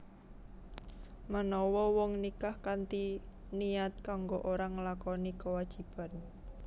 Menawa wong nikah kanthi niat kanggo ora nglakoni kewajiban